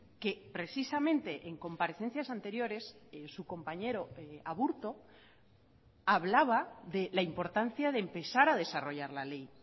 que precisamente en comparecencias anteriores su compañero aburto hablaba de la importancia de empezar a desarrollar la ley